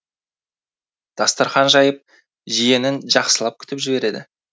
дастархан жайып жиенін жақсылап күтіп жібереді